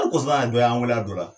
A kosɔn an dɔ y'an weel'a dɔ la